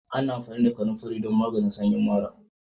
Ana amfani da kananfari don maganin sanyin mara